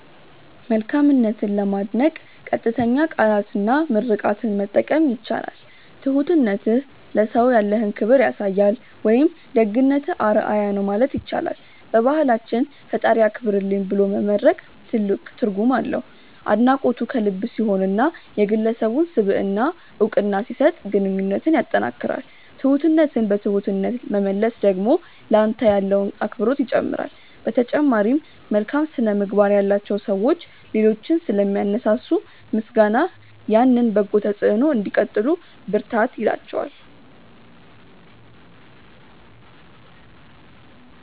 መልካምነትን ለማድነቅ ቀጥተኛ ቃላትና ምርቃትን መጠቀም ይቻላል። "ትሁትነትህ ለሰው ያለህን ክብር ያሳያል" ወይም "ደግነትህ አርአያ ነው" ማለት ይቻላል። በባህላችን "ፈጣሪ ያክብርልኝ" ብሎ መመርቅ ትልቅ ትርጉም አለው። አድናቆቱ ከልብ ሲሆንና የግለሰቡን ስብዕና እውቅና ሲሰጥ ግንኙነትን ያጠናክራል። ትሁትነትን በትሁትነት መመለስ ደግሞ ለአንተ ያለውን አክብሮት ይጨምራል። በተጨማሪም፣ መልካም ስነ-ምግባር ያላቸው ሰዎች ሌሎችን ስለሚያነሳሱ፣ ምስጋናህ ያንን በጎ ተጽዕኖ እንዲቀጥሉ ብርታት ይላቸዋል።